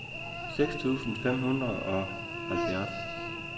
seks tusind fem hundrede og halvfjerds